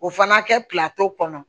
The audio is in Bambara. O fana kɛ kɔnɔ